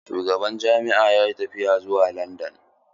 Shugaban jami'an yayi tafiya zuwa landan.